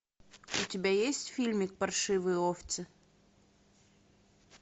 у тебя есть фильмик паршивые овцы